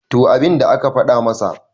to abinda aka fada masa